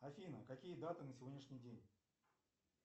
афина какие даты на сегодняшний день